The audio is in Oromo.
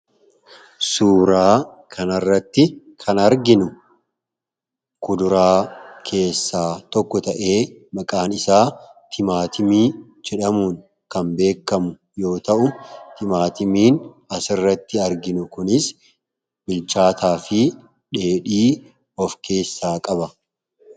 Suuraa kanarratti kan arginu kuduraa keessaa tokko ta'ee maqaan isaa timaatimii jedhamuun kan beekamu yoo ta'u timaatimiin asirratti arginu kunis bilchaataa fi dheedhii of keessaa qaba.